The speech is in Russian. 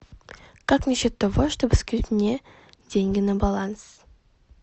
как насчет того чтобы скинуть мне деньги на баланс